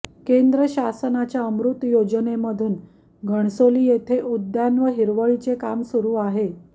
केंद्र शासनाच्या अमृत योजनेमधून घणसोली येथे उद्यान व हिरवळीचे काम सुरू आहे